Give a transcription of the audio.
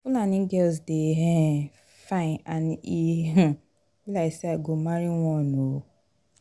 fulani girls dey um fine and e um be like say i go marry one um